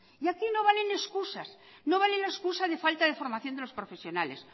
y aquí no valen escusas no valen escusas de falta de formación de los profesionales